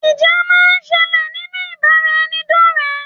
Ìjà máa ń sẹlẹ̀ nínú ìbáraẹnidọ́rẹ.